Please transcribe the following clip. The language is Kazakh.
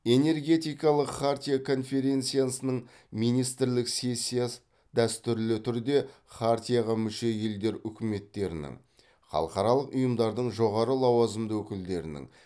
энергетикалық хартия конференциясының министрлік сессиясы дәстүрлі түрде хартияға мүше елдер үкіметтерінің халықаралық ұйымдардың жоғары лауазымды өкілдерінің